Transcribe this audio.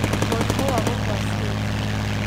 Mũrimũ wa gũkua ciĩga;